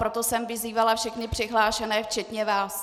Proto jsem vyzývala všechny přihlášené včetně vás.